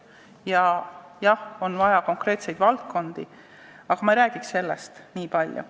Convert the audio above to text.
Jah, on vaja määratleda konkreetsed valdkonnad, aga ma ei räägiks sellest nii palju.